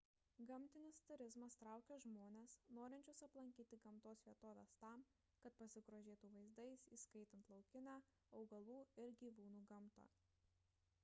gamtinis turizmas traukia žmones norinčius aplankyti gamtos vietoves tam kad pasigrožėtų vaizdais įskaitant laukinę augalų ir gyvūnų gamtą